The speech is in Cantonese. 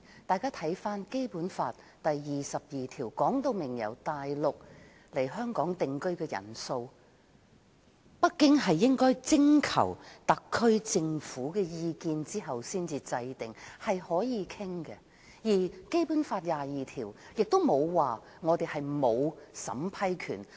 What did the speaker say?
大家看看《基本法》第二十二條訂明由大陸來香港定居的人數，北京應該徵求特區政府的意見後才確定，是可以討論的；而《基本法》第二十二條沒有說香港沒有審批權。